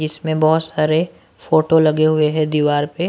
इसमें बहुत सारे फोटो लगे हुए हैंदीवार पे--